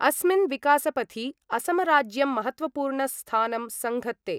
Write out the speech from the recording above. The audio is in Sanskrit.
अस्मिन् विकासपथि असमराज्यं महत्वपूर्ण स्थानं संघत्ते।